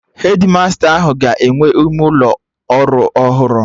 Hedmasta ahụ ga-enwe ime ụlọ ọrụ ọhụrụ